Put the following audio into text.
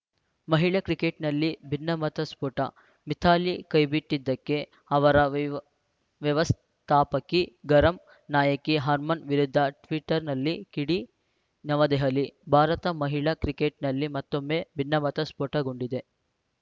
ಮಹಿಳಾ ಕ್ರಿಕೆಟ್‌ನಲ್ಲಿ ಭಿನ್ನಮತ ಸ್ಫೋಟ ಮಿಥಾಲಿ ಕೈಬಿಟ್ಟಿದ್ದಕ್ಕೆ ಅವರ ವೈವ್ ವ್ಯವಸ್ಥಾಪಕಿ ಗರಂ ನಾಯಕಿ ಹರ್ಮನ್‌ ವಿರುದ್ಧ ಟ್ವೀಟರ್‌ನಲ್ಲಿ ಕಿಡಿ ನವೆದಹಲಿ ಭಾರತ ಮಹಿಳಾ ಕ್ರಿಕೆಟ್‌ನಲ್ಲಿ ಮತ್ತೊಮ್ಮೆ ಭಿನ್ನಮತ ಸ್ಫೋಟಗೊಂಡಿದೆ